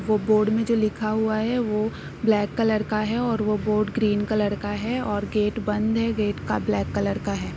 वो बोर्ड में जो लिखा हुआ है। वो ब्लैक कलर का है और वो बोर्ड ग्रीन कलर का है और गेट बंद है। गेट का ब्लैक कलर का है।